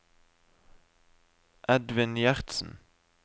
Edvin Gjertsen